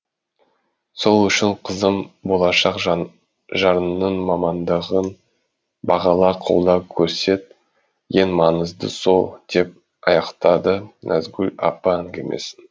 сол үшін қызым болашақ жарыңның мамандығын бағала қолдау көрсет ең маңыздысы сол деп аяқтады назгүл апа әңгімесін